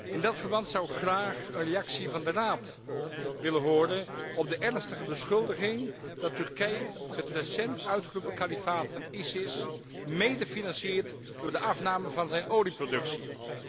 In dat verband zou ik graag een reactie van de Raad willen horen op de ernstige beschuldiging dat Turkije het recent uitgeroepen kalifaat van ISIS medefinanciert door de afname van diens olieproductie.